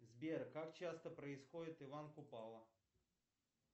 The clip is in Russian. сбер как часто происходит иван купала